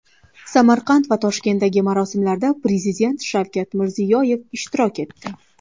Samarqand va Toshkentdagi marosimlarda Prezident Shavkat Mirziyoyev ishtirok etdi.